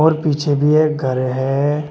और पीछे भी एक घर है।